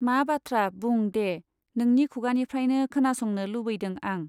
मा बाथ्रा बुं दे , नोंनि खुगानिफ्रायनो खोनासंनो लुबैदों आं।